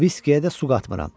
Viskiyə də su qatmıram.